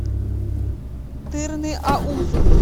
тырныаузу